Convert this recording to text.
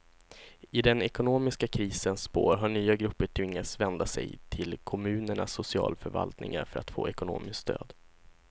I den ekonomiska krisens spår har nya grupper tvingats vända sig till kommunernas socialförvaltningar för att få ekonomiskt stöd.